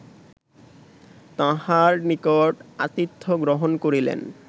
তাঁহার নিকট আতিথ্য গ্রহণ করিলেন